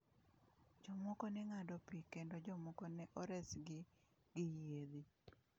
Jomoko ne ng’ado pi kendo jomoko ne oresgi gi yiedhi.